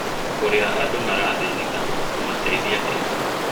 ũrĩa andũ marathĩnĩka ũkumateĩthia atĩa